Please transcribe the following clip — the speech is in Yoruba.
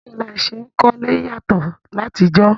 Báwo ni a se n kólé yàtọ́ látijọ́